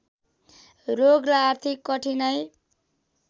रोग र आर्थिक कठिनाइ